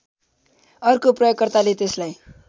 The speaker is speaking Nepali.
अर्को प्रयोगकर्ताले त्यसलाई